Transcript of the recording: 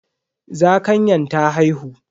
Zakanyan ta haihu.